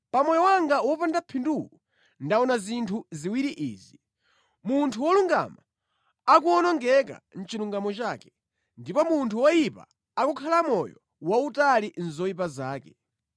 Pa moyo wanga wopanda phinduwu ndaona zinthu ziwiri izi: munthu wolungama akuwonongeka mʼchilungamo chake, ndipo munthu woyipa akukhala moyo wautali mʼzoyipa zake.